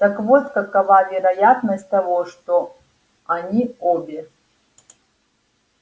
так вот какова вероятность того что они обе